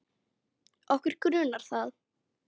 Okkur grunar það.